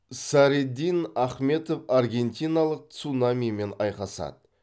садриддин ахмедов аргентиналық цунамимен айқасады